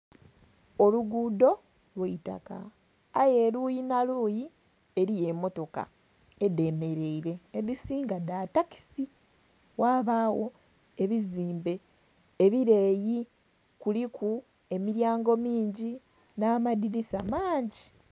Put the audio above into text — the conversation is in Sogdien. Olugudho lwaitaka aye eluyi nha luyi eriyo emotoka edhemereire, edhisinga dha takisi. Ghabagho ebizimbe ebileeli kuliku emilyango mingi nha amadhinisa maangi.